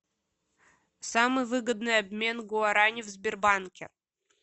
самый выгодный обмен гуарани в сбербанке